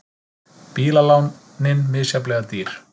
Bílalánin misjafnlega dýr